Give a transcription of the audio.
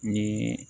Ni